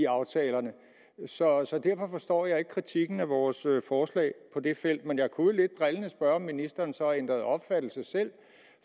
aftalerne så derfor forstår jeg ikke kritikken af vores forslag på det felt men jeg kunne jo lidt drillende spørge om ministeren så har ændret opfattelse selv